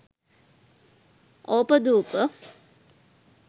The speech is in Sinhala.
opadupa